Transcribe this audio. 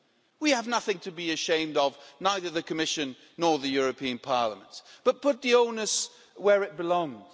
We have nothing to be ashamed of, neither the Commission nor the European Parliament, but put the onus where it belongs.